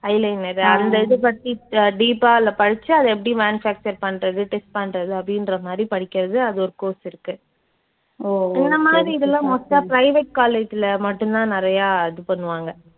eyeliner உ அந்த இது பத்தி அஹ் deep ஆ அதுல படிச்சு அது எப்படி manufacture பண்றது test பண்றது அப்படின்ற மாதிரி படிக்கிறது அது ஒரு course இருக்கு. இந்த மாதிரி இதெல்லாம் most ஆ private college ல மட்டும் தான் நிறையா இது பண்ணுவாங்க.